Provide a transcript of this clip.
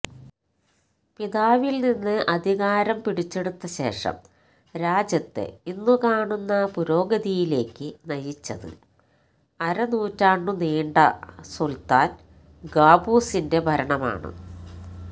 പിതാവില്നിന്ന് അധികാരം പിടിച്ചെടുത്ത ശേഷം രാജ്യത്തെ ഇന്നു കാണുന്ന പുരോഗതിയിലേക്ക് നയിച്ചത് അരനൂറ്റാണ്ടു നീണ്ട സുല്ത്താന് ഖാബൂസിന്റെ ഭരണമാണ്